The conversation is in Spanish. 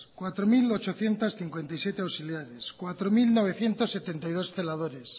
cuatro mil ochocientos cincuenta y siete auxiliares cuatro mil novecientos setenta y dos celadores